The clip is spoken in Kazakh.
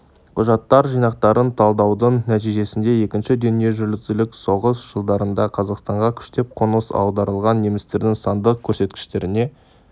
құжаттар жинақтарын талдаудың нәтижесінде екінші дүниежүзілік соғыс жылдарында қазақстанға күштеп қоныс аударылған немістердің сандық көрсеткіштеріне